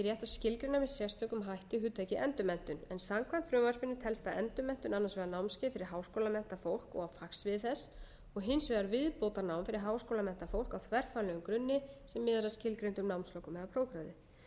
skilgreina með sérstökum hætti hugtakið endurmenntun en samkvæmt frumvarpinu telst endurmenntun annars vegar námskeið fyrir háskólamenntað fólk og á fagsviði þess og hins vegar viðbótarnám fyrir háskólamenntað fólk á þverfaglegum grunni sem miðar að skilgreindum námslokum eða prófgráðu